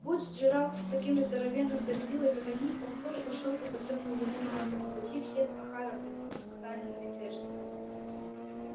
будь джералд таким же здоровенным верзилой как они он тоже пошёл бы по тёмному извилистому пути всех охара примкнув к тайным мятежникам